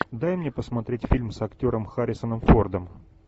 дай мне посмотреть фильм с актером харрисоном фордом